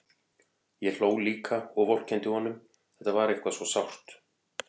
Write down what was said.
Ég hló líka og vorkenndi honum, þetta var eitthvað svo sárt.